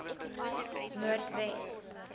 noordwes